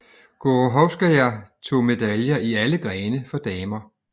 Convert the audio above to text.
Gorohovskaja tog medaljer i alle grene for damer